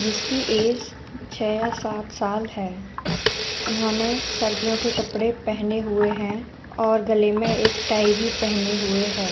जिसकी एज छे या सात साल है। उन्होंने सर्दियों के कपड़े पहने हुए हैं और गले में एक टाई भी पहनी हुए है।